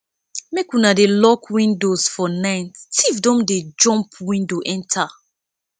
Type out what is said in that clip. make una dey lock windows for night tif dem don dey jump window enta